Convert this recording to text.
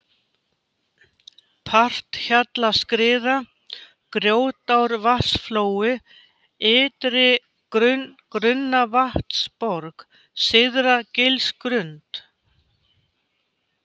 Parthjallaskriða, Grjótárvatnsflói, Ytri-Grunnavatnsborg, Syðra-Gilsgrund